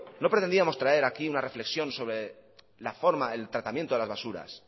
no pretendíamos traer aquí una reflexión sobre la forma el tratamiento de las basuras